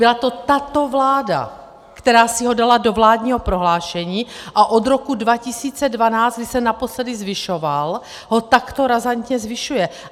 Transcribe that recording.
Byla to tato vláda, která si ho dala do vládního prohlášení a od roku 2012, kdy se naposledy zvyšoval, ho takto razantně zvyšuje.